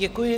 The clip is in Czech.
Děkuji.